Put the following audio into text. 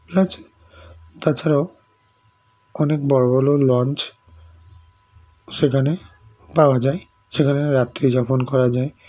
plus তাছাড়াও অনেক বড়ো বড়ো launch সেখানে পাওয়া যায় সেখানে রাত্রিযাপন করা যায়